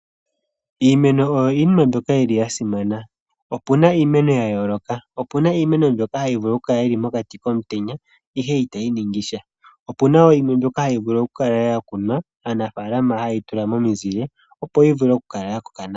Iimeno oyo iinima mbyoka yil i ya simana, opu na iimeno ya yooloka, opu na iimeno mbyoka hayi vulu okukala yili mokati komutenya ihe itayi ningisha. Opu na wo yimwe mbyoka hayi vulu okukala ya kunwa, aanafaalama haye yi tula momizile opo yi vule okukala ya koka nawa.